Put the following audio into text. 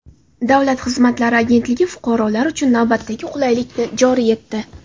Davlat xizmatlari agentligi fuqarolar uchun navbatdagi qulaylikni joriy etdi.